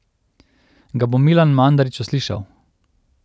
Ga bo Milan Mandarić uslišal?